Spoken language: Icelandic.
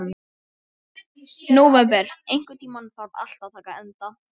Nóvember, einhvern tímann þarf allt að taka enda.